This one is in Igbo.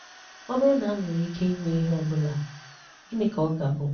Ọ bụrụ na m nwere ike ịnwe ihe ọ bụla, gịnị ka ọ ga-abụ?